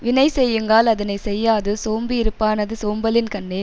வினை செய்யுங்கால் அதனை செய்யாது சோம்பியிருப்பானது சோம்பலின்கண்ணே